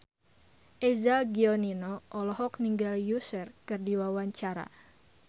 Eza Gionino olohok ningali Usher keur diwawancara